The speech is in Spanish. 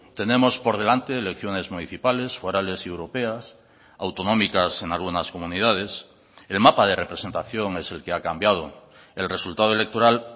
tenemos por delante elecciones municipales forales y europeas autonómicas en algunas comunidades el mapa de representación es el que ha cambiado el resultado electoral